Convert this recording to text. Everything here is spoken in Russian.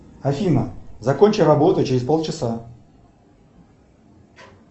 афина закончи работу через пол часа